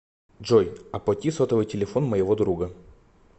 джой оплати сотовый телефон моего друга